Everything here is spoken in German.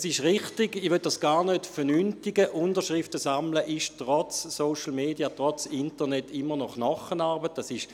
Es ist richtig, und ich möchte es gar nicht als unwichtig abtun, dass das Sammeln von Unterschriften trotz Social Media, trotz Internet immer noch Knochenarbeit ist.